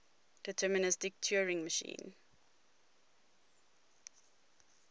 deterministic turing machine